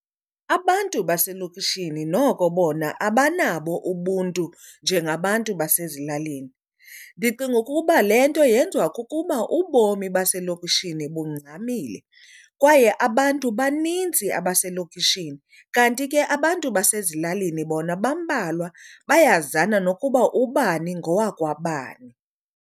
Abantu baselokishini noko bona abanabo ubuntu njengabantu basezilalini. Ndicinga ukuba le nto yenziwa kukuba ubomi baselokishini bungxamile kwaye abantu baninzi abaselokishini, kanti ke abantu basezilalini bona bambalwa bayazana nokuba ubani ngowakwabani.